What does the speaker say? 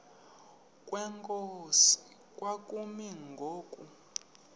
kwenkosi kwakumi ngoku